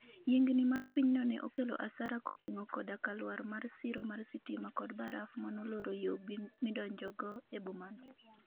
yiengni mar pinyno ne okelo asara koting'o koda ka lwar mar siro mar sitima kod baraf manoloro yoo midonjogo eboma no